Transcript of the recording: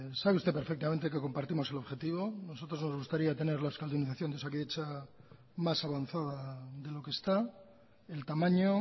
sabe usted perfectamente que compartimos el objetivo a nosotros nos gustaría tener la euskaldunizacion de osakidetza más avanzada de lo que está el tamaño